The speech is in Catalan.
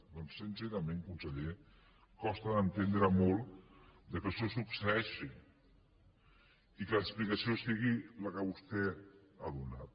doncs sincerament conseller costa d’entendre molt que això succeeixi i que l’explicació sigui la que vostè ha donat